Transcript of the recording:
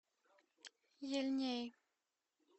ельней